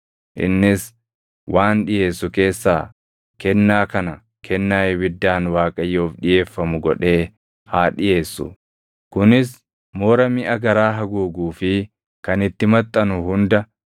Innis waan dhiʼeessu keessaa kennaa kana kennaa ibiddaan Waaqayyoof dhiʼeeffamu godhee haa dhiʼeessu; kunis moora miʼa garaa haguuguu fi kan itti maxxanu hunda,